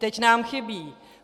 Teď nám chybí.